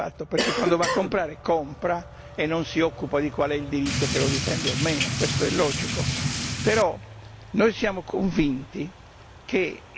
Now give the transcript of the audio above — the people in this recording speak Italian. Lei mi può dire che il consumatore non ha gli strumenti d'interpretazione di questo fatto, perché quando va a comprare compra e non si occupa di qual è il diritto che lo difende o meno.